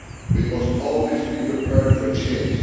We must always be prepared for change.